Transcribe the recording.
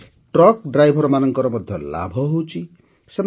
ଫଳରେ ଟ୍ରକ୍ ଡ୍ରାଇଭରମାନଙ୍କର ମଧ୍ୟ ଲାଭ ହୋଇଛି